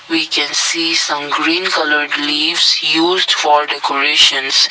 we can see some green coloured leaves used for decorations.